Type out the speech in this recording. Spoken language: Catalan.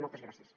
moltes gràcies